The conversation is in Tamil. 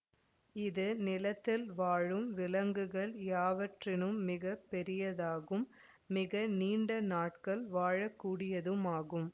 இது நிலத்தில் வாழும் விலங்குகள் யாவற்றினும் மிக பெரியதாகும் மிக நீண்ட நாட்கள் வாழக்கூடியதும் ஆகும்